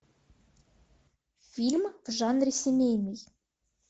фильм в жанре семейный